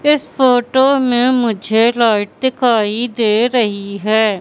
इस फोटो में मुझे लाइट दिखाई दे रही है।